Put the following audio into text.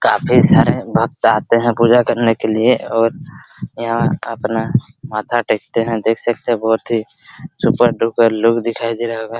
काफी सारे भक्त आते हैं पूजा करने के लिए और यहाँ अपना माथा टेकते हैं देख सकते हैं बहोत ही सुपर डुपर लुक दिखाई दे रहा होगा।